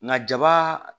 Nka jaba